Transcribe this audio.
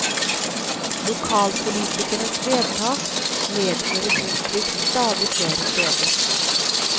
Lokalpolitikernes vedtak medfører boplikt stadig flere steder.